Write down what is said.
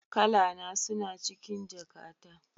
Kalana suna cikin jakata